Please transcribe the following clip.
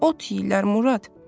Ot yeyirlər, Murad.